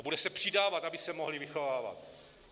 A bude se přidávat, aby se mohly vychovávat.